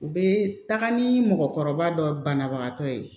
U bɛ taga ni mɔgɔkɔrɔba dɔ banabagatɔ ye